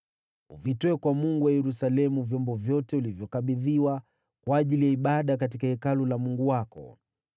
Uvitoe kwa Mungu wa Yerusalemu vyombo vyote ulivyokabidhiwa kwa ajili ya ibada katika Hekalu la Mungu wako.